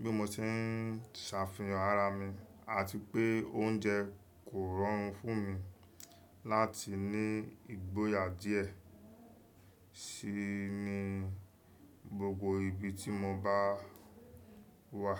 bí mo ṣe ń ṣàfihàn ara mi àti pé oúnjẹ kò rọrùn fún mi láti ní ìgboyà díẹ̀ sí i ní gbogbo ibi tí mo bá wà.